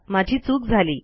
माझी चूक झाली